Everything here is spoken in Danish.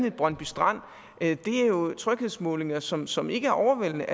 i brøndby strand er jo tryghedsmålinger som som ikke er overvældende